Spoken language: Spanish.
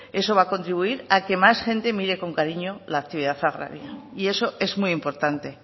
eso va a contribuir a que más gente mire con cariño la actividad agraria y eso es muy importante